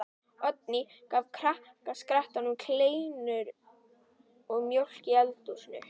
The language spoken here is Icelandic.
Oddný gaf krakkaskaranum kleinur og mjólk í eldhúsinu.